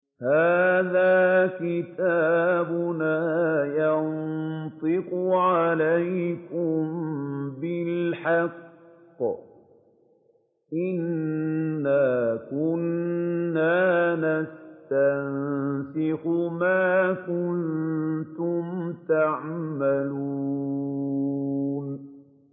هَٰذَا كِتَابُنَا يَنطِقُ عَلَيْكُم بِالْحَقِّ ۚ إِنَّا كُنَّا نَسْتَنسِخُ مَا كُنتُمْ تَعْمَلُونَ